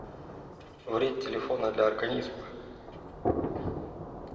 вред телефона для организма